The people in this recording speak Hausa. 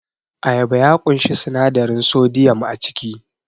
Ayaba ya ƙunshi sinadarin sodiyam a ciki